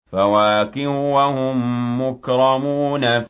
فَوَاكِهُ ۖ وَهُم مُّكْرَمُونَ